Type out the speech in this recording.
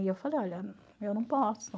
E eu falei, olha, eu não posso.